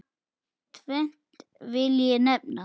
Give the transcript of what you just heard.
Tvennt vil ég nefna.